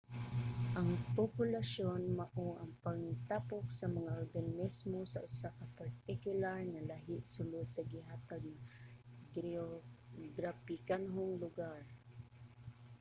ang populasyon mao ang pangtapok sa mga organismo sa usa ka partikular nga lahi sulod sa gihatag nga geograpikanhong lugar